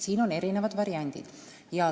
Siin on erinevad variandid.